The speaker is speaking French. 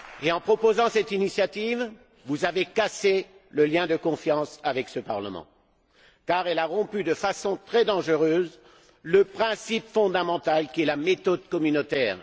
En proposant cette initiative, vous avez cassé le lien de confiance avec ce Parlement, car celle ci a rompu de façon très dangereuse le principe fondamental qui est la méthode communautaire.